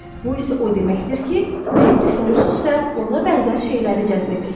Bu isə o deməkdir ki, nəyi düşünürsünüzsə, ona bənzər şeyləri cəzb edirsiz.